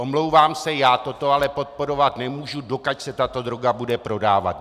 Omlouvám se, já toto ale podporovat nemůžu, dokud se tato droga bude prodávat.